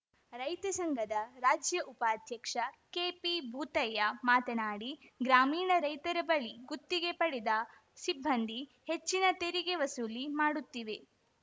ರೈತ ಸಂಘದ ರಾಜ್ಯ ಉಪಾಧ್ಯಕ್ಷ ಕೆಪಿಭೂತಯ್ಯ ಮಾತನಾಡಿ ಗ್ರಾಮೀಣ ರೈತರ ಬಳಿ ಗುತ್ತಿಗೆ ಪಡೆದ ಸಿಬ್ಬಂದಿ ಹೆಚ್ಚಿನ ತೆರಿಗೆ ವಸೂಲಿ ಮಾಡುತ್ತಿವೆ